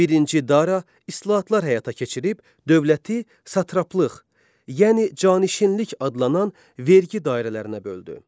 Birinci Dara islahatlar həyata keçirib dövləti satraplıq, yəni canişinlik adlanan vergi dairələrinə böldü.